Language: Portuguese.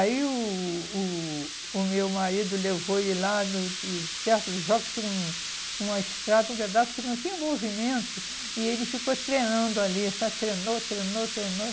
Aí o o o meu marido levou ele lá no de, perto dos jogos, tinha um uma estrada, um pedaço que não tinha movimento, e ele ficou treinando ali, sabe, treinou, treinou, treinou,